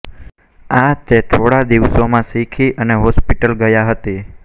આ તે થોડા દિવસોમાં શીખી અને હોસ્પિટલ ગયા હતી